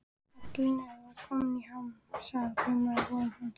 Kallinn var kominn í ham, sagan kraumaði á vörum hans.